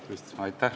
Tervist!